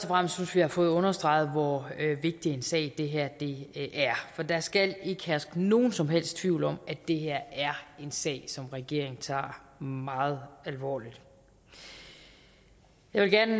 fremmest synes vi har fået understreget hvor vigtig en sag det her er for der skal ikke herske nogen som helst tvivl om at det her er en sag som regeringen tager meget alvorligt jeg vil gerne